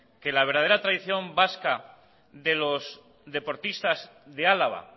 que la verdadera tradición vasca de los deportistas de álava